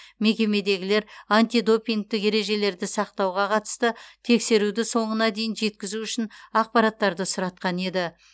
мекемедегілер антидопингтік ережелерді сақтауға қатысты тексеруді соңына дейін жеткізу үшін ақпараттарды сұратқан еді